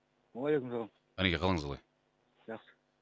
уалейкумсалам ғалеке қалыңыз қалай жақсы